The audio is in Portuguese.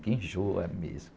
Que enjoa mesmo.